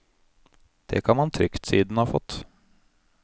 Det kan man trygt si den har fått.